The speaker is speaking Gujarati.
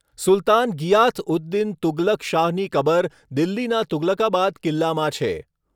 સુલતાન ગિયાથ ઉદ દીન તુગલક શાહની કબર દિલ્હીના તુગલકાબાદ કિલ્લામાં છે.